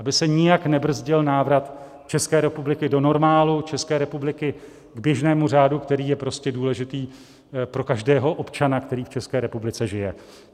Aby se nijak nebrzdil návrat České republiky do normálu, České republiky k běžnému řádu, který je prostě důležitý pro každého občana, který v České republice žije.